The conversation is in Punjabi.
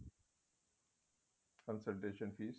consultant fess